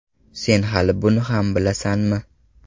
Sen hali buni ham bilasanmi?